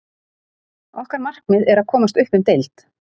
Okkar markmið er að komast upp um deild.